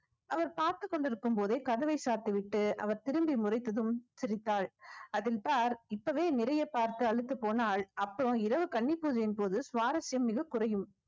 அவர் பார்த்துக் கொண்டிருக்கும்போதே கதவை சாத்திவிட்டு அவர் திரும்பி முறைத்ததும் சிரித்தாள் அதன் sir இப்பவே நிறைய பார்த்து அலுத்து போனாள் அப்போ இரவு கன்னி பூஜையின் போது சுவாரஸ்யம் மிகக் குறையும்